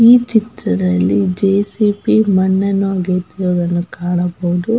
ಈ ಚಿತ್ರದ್ಲಲಿ ಜೆ.ಸಿ.ಬಿ ಮಣ್ಣನ್ನು ಅಗೆಯುತ್ತಿರುವುದನ್ನು ಕಾಣಬಹುದು.